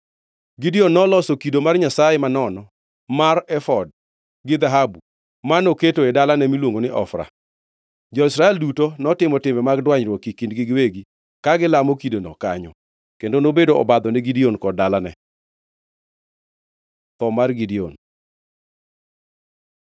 Gideon noloso kido mar nyasaye manono mar efod gi dhahabu, ma noketo e dalane miluongo ni Ofra. Jo-Israel duto notimo timbe mag dwanyruok e kindgi giwegi ka gilamo kidono kanyo kendo nobedo obadho ni Gideon kod dalane. Tho mar Gideon